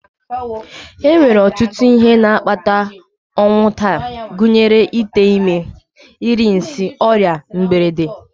E nwere ọtụtụ ihe na-akpata ọnwụ taa gụnyere ite ime, iri nsị, ọrịa, mberede